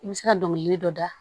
I bɛ se ka dɔngili dɔ da